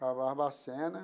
Para Barbacena.